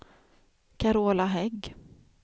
Carola Hägg